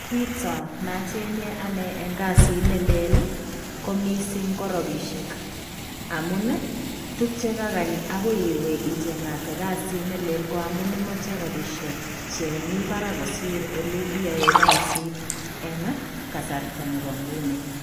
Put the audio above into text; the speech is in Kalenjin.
Kitaa nachengei ane en kasiit ne leel ii ko missing ko rapisheek amuun tuguuk che kagaany agoi iweeh ichengatee kasiit ne leel ko amuun imache rapisheek che Mii Barak kosiir ole iyae. Kasiit eng kasarta nebo nguni.